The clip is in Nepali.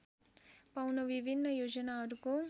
पाउन विभिन्न योजनाहरूको